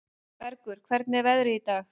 Bergur, hvernig er veðrið í dag?